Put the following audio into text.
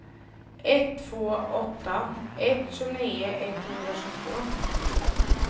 ett två åtta ett tjugonio etthundratjugotvå